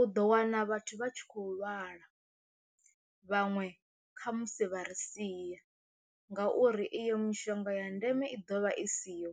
U ḓo wana vhathu vha tshi khou lwala vhaṅwe kha musi vha ri sia ngauri iyo mishonga ya ndeme i ḓovha i siho,